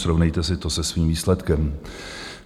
Srovnejte si to se svým výsledkem.